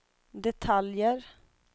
detaljer